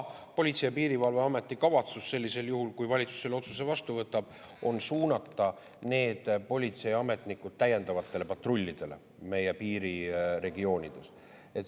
Politsei‑ ja Piirivalveameti kavatsus sellisel juhul, kui valitsus selle otsuse vastu võtab, on suunata need politseiametnikud täiendavatesse patrullidesse meie piiriregioonides.